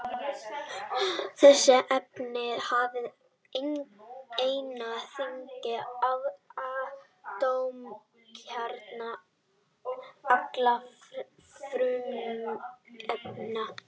Þessi efni hafa einna þyngsta atómkjarna allra frumefna.